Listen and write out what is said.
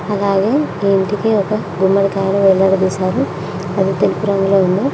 అలాగే ఈ ఇంటికి ఒక గుమ్మడికాయ వేలాడదీశారు అది తెలుపు రంగులో ఉంది.